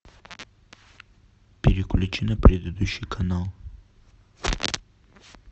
переключи на предыдущий канал